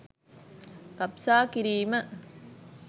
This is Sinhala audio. ගබ්සා කිරීම